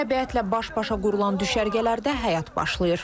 Təbiətlə baş-başa qurulan düşərgələrdə həyat başlayır.